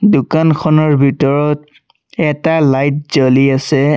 দোকানখনৰ ভিতৰত এটা লাইট জ্বলি আছে।